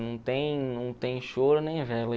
Não tem não tem choro nem vela.